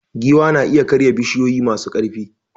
Giwa na iya karya bishiyoyi masu ƙarfi.